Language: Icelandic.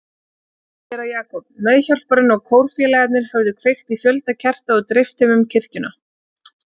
Séra Jakob, meðhjálparinn og kórfélagarnir höfðu kveikt á fjölda kerta og dreift þeim um kirkjuna.